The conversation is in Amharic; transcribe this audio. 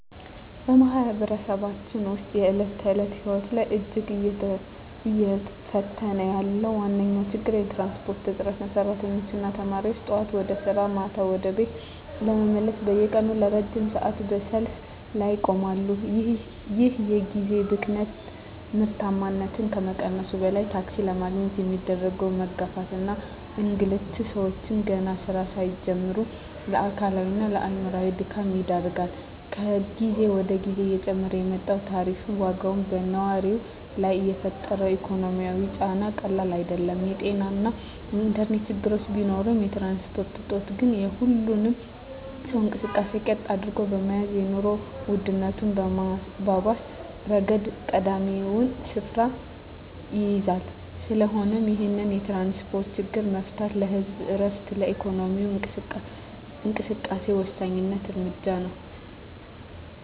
በማኅበረሰባችን ውስጥ የዕለት ተዕለት ሕይወትን እጅግ እየፈተነ ያለው ዋነኛው ችግር የትራንስፖርት እጥረት ነው። ሠራተኞችና ተማሪዎች ጠዋት ወደ ሥራ፣ ማታ ደግሞ ወደ ቤት ለመመለስ በየቀኑ ለረጅም ሰዓታት በሰልፍ ላይ ይቆማሉ። ይህ የጊዜ ብክነት ምርታማነትን ከመቀነሱም በላይ፣ ታክሲ ለማግኘት የሚደረገው መጋፋትና እንግልት ሰዎችን ገና ሥራ ሳይጀምሩ ለአካላዊና አእምሮአዊ ድካም ይዳርጋል። ከጊዜ ወደ ጊዜ እየጨመረ የመጣው የታሪፍ ዋጋም በነዋሪው ላይ የፈጠረው ኢኮኖሚያዊ ጫና ቀላል አይደለም። የጤናና የኢንተርኔት ችግሮች ቢኖሩም፣ የትራንስፖርት እጦት ግን የሁሉንም ሰው እንቅስቃሴ ቀጥ አድርጎ በመያዝ የኑሮ ውድነቱን በማባባስ ረገድ ቀዳሚውን ስፍራ ይይዛል። ስለሆነም ይህንን የትራንስፖርት ችግር መፍታት ለህዝቡ ዕረፍትና ለኢኮኖሚው እንቅስቃሴ ወሳኝ እርምጃ ነው።